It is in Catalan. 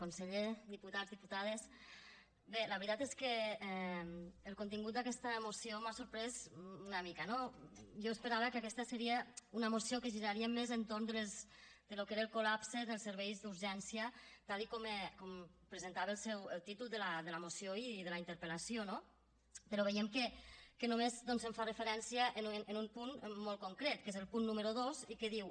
conseller diputats diputades bé la veritat és que el contingut d’aquesta moció m’ha sorprès una mica no jo esperava que aquesta seria una moció que giraria més entorn del que era el col·lapse dels serveis d’urgència tal com presentava el títol de la moció i de la interpel·lació no però veiem que només doncs hi fa referència en un punt molt concret que és el punt número dos i que diu